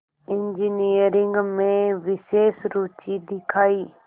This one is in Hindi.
इंजीनियरिंग में विशेष रुचि दिखाई